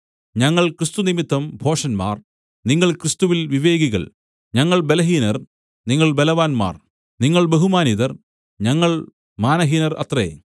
ഞങ്ങൾ ക്രിസ്തുനിമിത്തം ഭോഷന്മാർ നിങ്ങൾ ക്രിസ്തുവിൽ വിവേകികൾ ഞങ്ങൾ ബലഹീനർ നിങ്ങൾ ബലവാന്മാർ നിങ്ങൾ ബഹുമാനിതർ ഞങ്ങൾ മാനഹീനർ അത്രേ